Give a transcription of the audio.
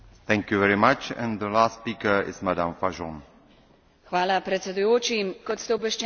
Kot ste obveščeni, je bil velik del Slovenije v nedavni vremenski ujmi dobesedno vkopan v led.